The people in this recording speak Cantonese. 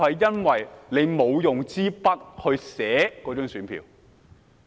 因為他沒有用筆在選票上填寫。